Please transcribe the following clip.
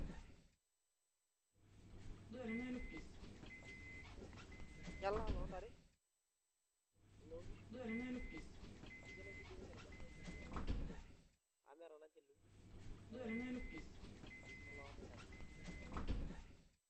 Olchala lloontare oloonkishu ninche oshi edim ninche aitumiyia tina siai amu meeta naa ninye lukunkuni olchala ake loonkishu oloontare.